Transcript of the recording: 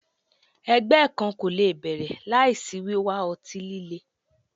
Ẹgbẹ kan ko le bẹrẹ laisi wiwa ọti-lile